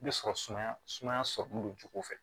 I bɛ sɔrɔ sumaya sumaya sɔrɔlen don jogoko fɛ